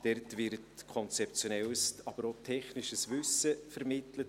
Dort wird konzeptionelles, aber auch technisches Wissen vermittelt.